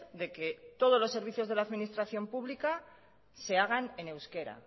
de que todos los servicios de la administración pública se hagan en euskera